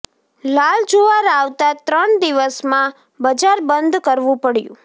લાલ જુવાર આવતા ત્રણ દિવસમાં બજાર બંધ કરવું પડ્યું